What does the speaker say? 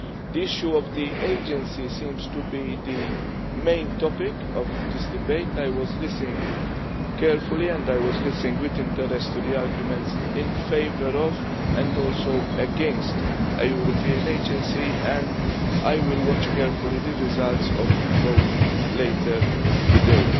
The issue of the Agency seems to be the main topic of this debate. I was listening carefully and with interest to the arguments in favour of, and also against, a European Agency and I will watch carefully the results of the vote later today.